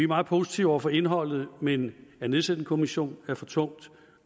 meget positive over for indholdet i men at nedsætte en kommission er for tungt